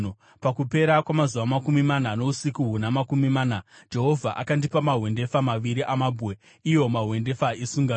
Pakupera kwamazuva makumi mana nousiku huna makumi mana Jehovha akandipa mahwendefa maviri amabwe, iwo mahwendefa esungano.